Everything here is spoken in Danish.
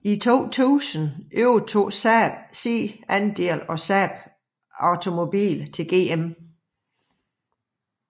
I 2000 overdrog Saab sin andel af Saab Automobile til GM